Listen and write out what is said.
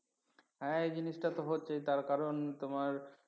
হ্যাঁ এই জিনিসটা তো হচ্ছে তার কারণ তোমার